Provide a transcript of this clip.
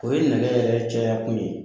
O ye nɛgɛ yɛrɛ caya kun ye